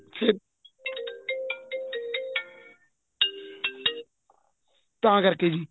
ਫੇਰ ਤਾਂ ਕਰਕੇ ਜੀ